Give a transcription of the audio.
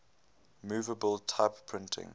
movable type printing